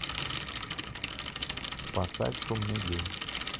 поставь шумный день